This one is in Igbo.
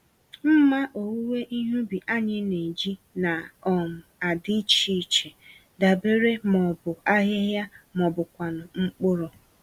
Mmá owuwe ihe ubi anyị n'eji na um adị iche iche, dabere ma ọ bụ ahịhịa ma ọbụkwanụ mkpụrụ.